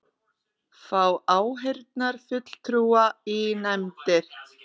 Fá áheyrnarfulltrúa í nefndir